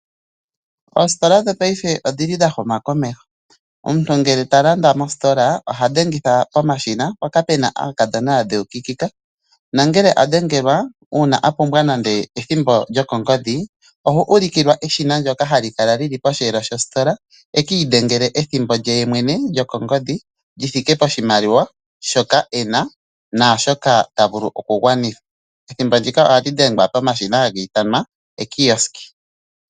Oositola dhopaife odhi li dha huma komeho omuntu ngele talanditha mositola ohadhengitha pomashina mpoka pena aakadhona yadheukikika nangela a dhengelwa uuna a pumbwa nande ethimbo lyokongodhi ohu ulikilwa keshina lyoka hali kala lili posheelo shositola eki idhengela ethimbo lye yemwene lyokongodhi lithium poshimaliwa shoka ena naashoka tavulu okugwanitha